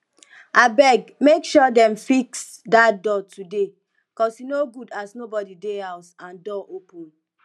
abeg make sure dem fix dat door today cos e no good as nobody dey house and door open